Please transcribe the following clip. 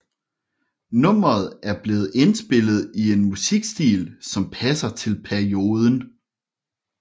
Nummeret er blevet indspillet i en musikstil som passer til perioden